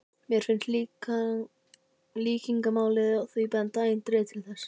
Mér finnst líkingamálið í því benda eindregið til þess.